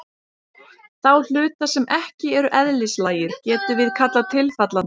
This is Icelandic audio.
Þá hluta sem ekki eru eðlislægir getum við kallað tilfallandi.